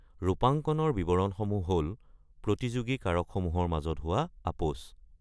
ৰূপাঙ্কণৰ বিৱৰণসমূহ হ'ল প্ৰতিযোগী কাৰকসমূহৰ মাজত হোৱা আপোচ।